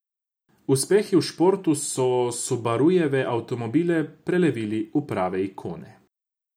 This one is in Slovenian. Uspehi v športu so Subarujeve avtomobile prelevili v prave ikone.